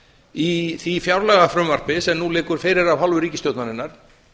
í því fjárlagafrumvarpi sem nú liggur fyrir af hálfu ríkisstjórnarinnar